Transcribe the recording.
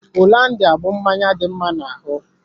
Hollandia bú mmanya dị mma na ahụ.